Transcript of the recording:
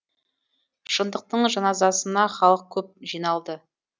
шындықтың жаназасына халық көп жиналды